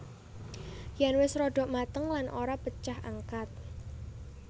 Yen wis rada mateng lan ora pecah angkat